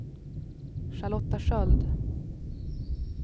Charlotta Sköld